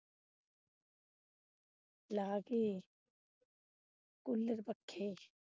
ਲਾ ਕੇ ਕੂਲਰ ਪੱਖੇ।